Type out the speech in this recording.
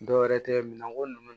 Dɔwɛrɛ tɛ minɛnko ninnu